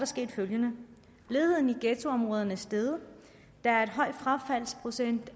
sket følgende ledigheden i ghettoområderne er steget der er en høj frafaldsprocent